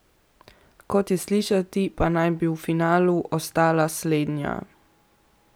Kot je slišati, pa naj bi v finalu ostala slednja.